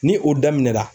Ni o daminɛna